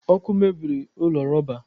Ọkụ mebiri ụlọ rọba